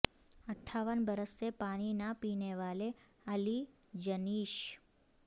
اٹھاون برس سے پانی نہ پینے والا علی جنیش